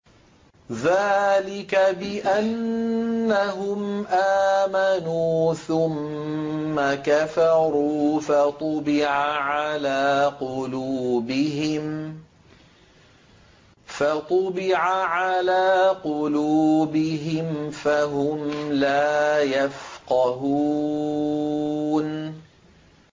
ذَٰلِكَ بِأَنَّهُمْ آمَنُوا ثُمَّ كَفَرُوا فَطُبِعَ عَلَىٰ قُلُوبِهِمْ فَهُمْ لَا يَفْقَهُونَ